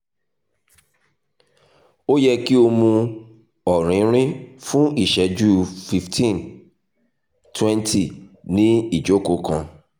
o yẹ ki o mu ọrinrin fun iṣẹju 15 - 20 ni ijoko kan